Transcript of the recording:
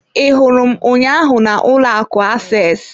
I hụrụ m ụnyaahụ na ụlọ akụ access.